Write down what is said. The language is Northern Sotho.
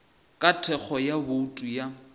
ka thekgo ya bouto ya